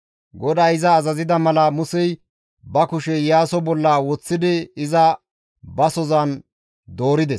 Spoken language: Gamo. GODAY iza azazida mala Musey ba kushe Iyaaso bolla woththidi iza basohozan doorides.